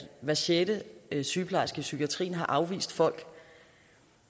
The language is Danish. hver sjette sygeplejerske i psykiatrien har afvist folk